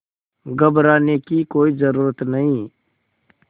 घबराने की कोई ज़रूरत नहीं